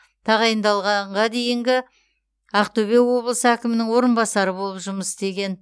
тағайындалғанға дейінгі ақтөбе облысы әкімінің орынбасары болып жұмыс істеген